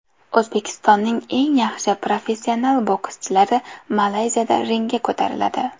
O‘zbekistonning eng yaxshi professional bokschilari Malayziyada ringga ko‘tariladi.